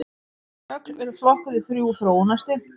Högl eru flokkuð í þrjú þróunarstig.